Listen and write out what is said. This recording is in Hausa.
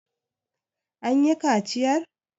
an yi kaciyar!